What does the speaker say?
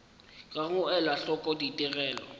ga go ela hloko ditigelo